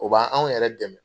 O b'an anw yɛrɛ dɛmɛ.